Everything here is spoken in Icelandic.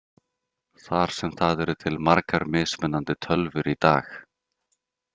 Þar sem það eru til margar mismunandi tölvur í dag.